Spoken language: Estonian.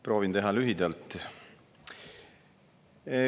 Proovin teha lühidalt.